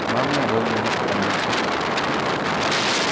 мама робби нет в комнате